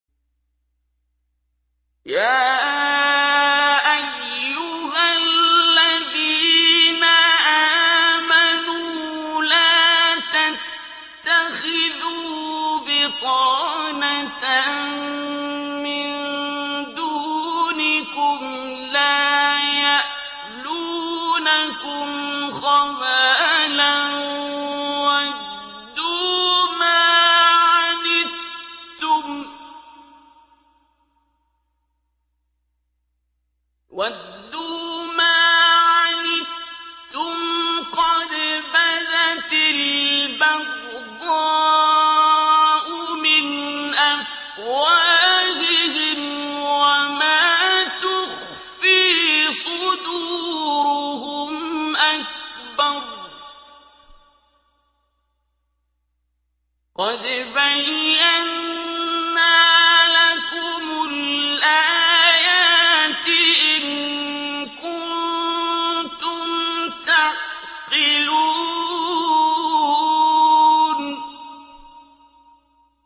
يَا أَيُّهَا الَّذِينَ آمَنُوا لَا تَتَّخِذُوا بِطَانَةً مِّن دُونِكُمْ لَا يَأْلُونَكُمْ خَبَالًا وَدُّوا مَا عَنِتُّمْ قَدْ بَدَتِ الْبَغْضَاءُ مِنْ أَفْوَاهِهِمْ وَمَا تُخْفِي صُدُورُهُمْ أَكْبَرُ ۚ قَدْ بَيَّنَّا لَكُمُ الْآيَاتِ ۖ إِن كُنتُمْ تَعْقِلُونَ